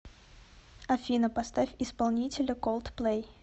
афина поставь исполнителя колдплэй